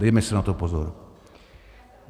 Dejme si na to pozor.